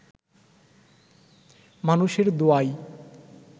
মানুষের দোয়ায়